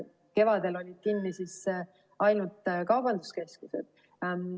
Kevadel olid kinni ainult kaubanduskeskused.